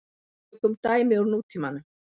Tökum dæmi úr nútímanum.